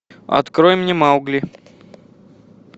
открой мне маугли